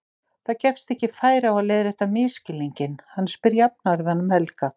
Það gefst ekki færi á að leiðrétta misskilninginn, hann spyr jafnharðan um Helga.